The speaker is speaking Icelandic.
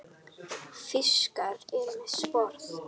Fiskar eru með sporð.